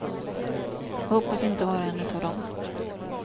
Jag hoppas inte vara en utav dem.